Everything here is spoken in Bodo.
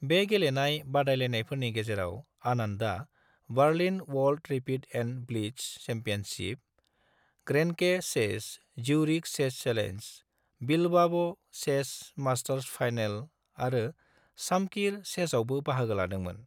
बे गेलेनाय बादायनायफोरनि गेजेराव, आनंदआ Berlin world rapid and blitz championship, Grenke chess, Zurich chess challenge, Bilbao chess masters final आरो शामकिर चेसआवबो बाहागो लादोंमोन।